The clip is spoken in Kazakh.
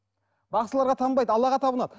бақсыларға табынбайды аллаға табынады